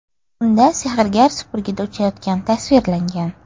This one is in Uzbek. Unda sehrgar supurgida uchayotgani tasvirlangan.